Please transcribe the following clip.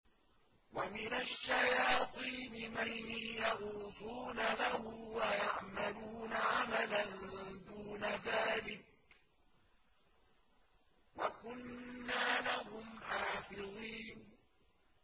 وَمِنَ الشَّيَاطِينِ مَن يَغُوصُونَ لَهُ وَيَعْمَلُونَ عَمَلًا دُونَ ذَٰلِكَ ۖ وَكُنَّا لَهُمْ حَافِظِينَ